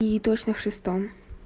и точно в шестом